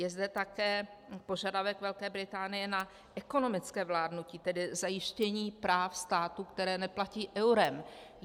Je zde také požadavek Velké Británie na ekonomické vládnutí, tedy zajištění práv států, které neplatí eurem.